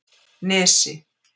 Nesi